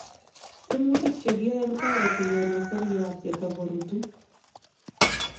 tiemutik chegia kotareti kenai seriat yatagorutu